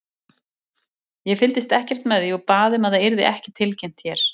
Ég fylgdist ekkert með því og bað um að það yrði ekki tilkynnt hérna.